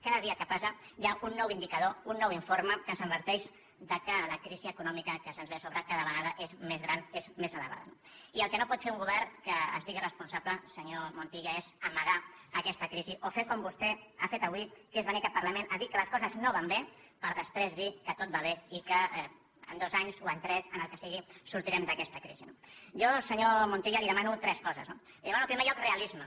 cada dia que passa hi ha un nou indicador un nou informe que ens adverteix que la crisi econòmica que ens ve a sobre cada vegada és més gran és més elevada no i el que no pot fer un govern que es digui responsable senyor montilla és amagar aquesta crisi o fer com vostè ha fet avui que és venir a aquest parlament a dir que les coses no van bé per després dir que tot va bé i que en dos anys o en tres en els que siguin sortirem d’aquesta crisi no jo senyor montilla li demano tres coses no li demano en primer lloc realisme